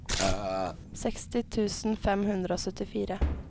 seksti tusen fem hundre og syttifire